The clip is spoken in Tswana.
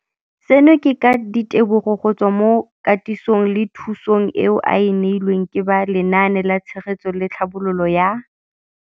Seno ke ka ditebogo go tswa mo katisong le thu song eo a e neilweng ke ba Lenaane la Tshegetso le Tlhabololo ya.